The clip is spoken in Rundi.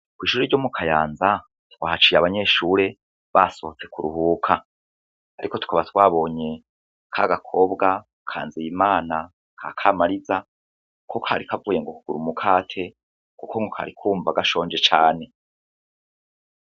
Kwishure ryo mu kayanza twahaciye abanyeshure basohotse kuruhuka ariko tukaba twabonye kagakobwa ka nzeyimana ka kamariza ko kari kavuye ngo kugura umukate kuku ngo kari kumva gashonje cane.